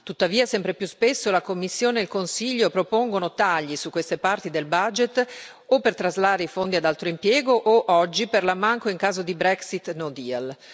Tuttavia, sempre più spesso la Commissione e il Consiglio propongono tagli su queste parti del bilancio o per traslare i fondi ad altro impiego o, oggi, per l'ammanco in caso di Brexit con no deal.